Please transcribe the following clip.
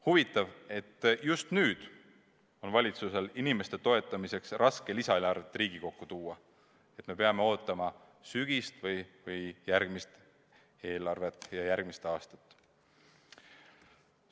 Huvitav, et just nüüd on valitsusel inimeste toetamiseks raske lisaeelarvet Riigikokku tuua, nii et me peame ootama sügist või järgmist eelarvet ja järgmist aastat.